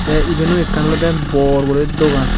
tee iben o ekkan olode bor guri dogan.